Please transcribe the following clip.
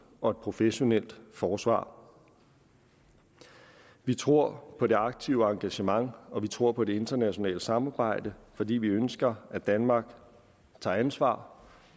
og professionelt forsvar vi tror på det aktive engagement og vi tror på det internationale samarbejde fordi vi ønsker at danmark tager ansvar